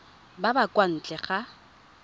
ba ba kwa ntle ga